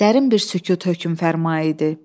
Dərin bir sükut hökm fərma idi.